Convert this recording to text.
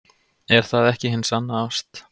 Er það ekki hin sanna ást?